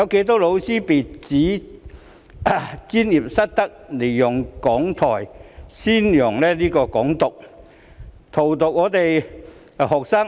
多少教師被指專業失德，利用講台宣揚"港獨"，荼毒我們的學生？